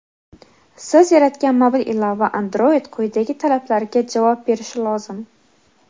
Siz yaratgan mobil ilova(Android) quyidagi talablarga javob berishi lozim:.